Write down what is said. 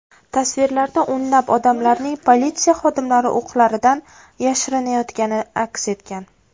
Tasvirlarda o‘nlab odamlarning politsiya xodimlari o‘qlaridan yashirinayotgani aks etgan.